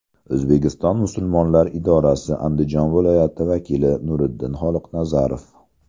O‘zbekiston musulmonlari idorasi Andijon viloyati vakili Nuriddin Xoliqnazarov.